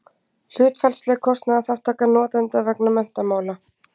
hlutfallsleg kostnaðarþátttaka notenda vegna menntamála